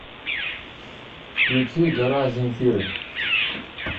включи гора земфиры